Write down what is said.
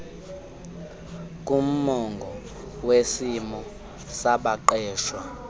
kumongo wesimo sabaqeshwa